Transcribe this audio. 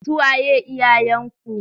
Su waye iyayenku?